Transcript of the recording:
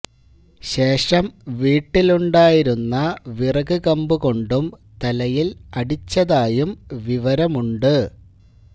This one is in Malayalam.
ശേഷം വീട്ടിലുണ്ടായിരുന്ന വിറക് കമ്പ് കൊണ്ടും തലയില് അടിച്ചതായും വിവരമുണ്ട്